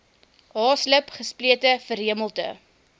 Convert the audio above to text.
haaslip gesplete verhemelte